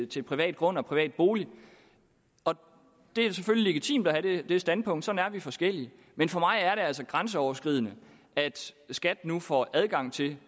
til private grunde og private boliger det er selvfølgelig legitimt at have det standpunkt sådan er vi forskellige men for mig er det altså grænseoverskridende at skat nu får adgang til